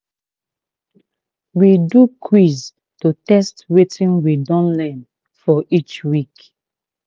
we do quizz to test wetin we don learn for each week